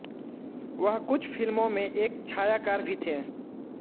वह कुछ फिल्मों में एक छायाकार भी थे